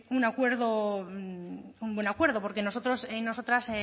un acuerdo un buen acuerdo porque nosotros y nosotras